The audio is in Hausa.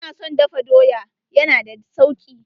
Ina son dafa doya, ya na da sauki.